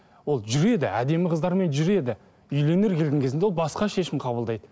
ол жүреді әдемі қыздармен жүреді үйленерге келген кезінде ол басқа шешім қабылдайды